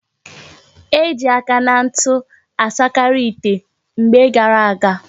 Eji aka na ntu asakari ite na mgbe gara aga